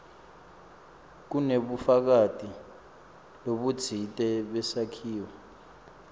kunebufakazi lobutsite besakhiwo